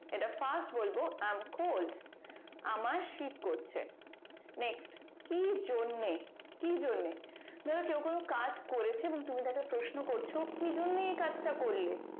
এটা fast বলবো i am cold আমার শীত করছে next কি জন্যে কি জন্যে ধরো কেউ কোনো কাজ করেছে এবং তুমি তাকে প্রশ্ন করছো কি জন্যে এ কাজটা করলে